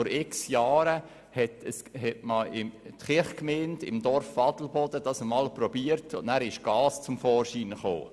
Vor zig Jahren hatte es die Kirchgemeinde in Adelboden einmal versucht, wobei Gas zum Vorschein kam.